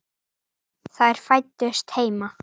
Þær fæddust heima.